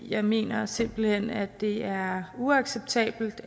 jeg mener simpelt hen at det er uacceptabelt